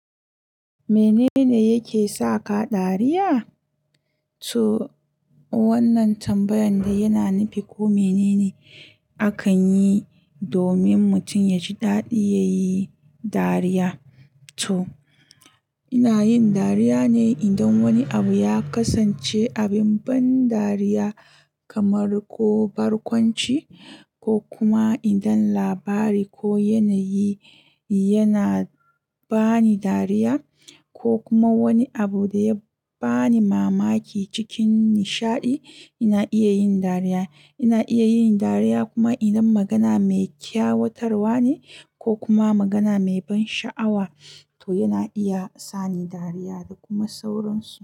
Minene yake saka dariya so wannan tambayar dai yana nufin koh minene akanyi domin mutum yaji dadi yayi dariya. To ina yin dariya ne idan wani abu ya kasance abin ban dariya kamar ko barkwanci ko kuma idan labari ko yanayi yana bani dariya ko kuma wani abu da ya bani mamaki cikin nishaɗi ina iya yin dariya. Ina iya yin dariya kuma idan magana mai kyawatarwa ne ko kuma magana mai ban sha'awa to yana iya sani dariya da kuma sauransu.